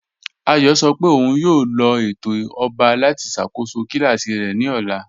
Àyọ̀ sọ́ pé ọ̀un yóò lọ̀ ètò ọ̀ba láti ṣakóṣọ́ kílàsí rẹ̀ ni ọ̀là.